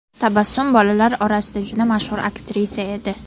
Tabassum bolalar orasida juda mashhur aktrisa edi.